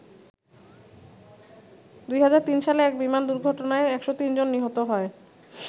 ২০০৩ সালে এক বিমান দুর্ঘটনায় ১০৩ জন নিহত হয়।